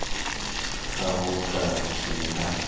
ha ho ka ke ha